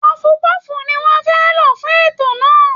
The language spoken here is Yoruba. Pọọfu-pọ́ọ̀fù ni wọ́n fẹ́ lò fún ètò náà